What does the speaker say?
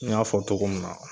N y'a fɔ togo min na